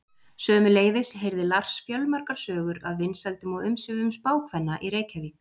Sömuleiðis heyrði Lars fjölmargar sögur af vinsældum og umsvifum spákvenna í Reykjavík.